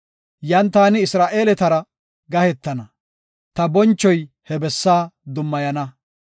Yan taani Isra7eeletara gahetana; ta bonchoy he bessa dummayana.